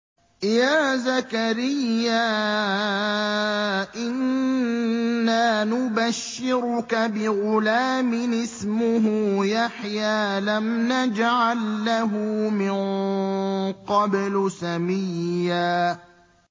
يَا زَكَرِيَّا إِنَّا نُبَشِّرُكَ بِغُلَامٍ اسْمُهُ يَحْيَىٰ لَمْ نَجْعَل لَّهُ مِن قَبْلُ سَمِيًّا